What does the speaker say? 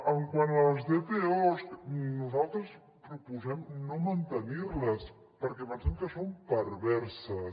quant a les dpos nosaltres proposem no mantenir les perquè pensem que són perverses